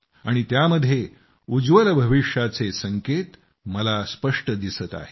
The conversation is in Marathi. आणि त्यामध्ये उज्ज्वल भविष्याचे संकेत मला स्पष्ट दिसत आहेत